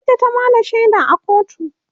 ita ta Bada shaida a kotun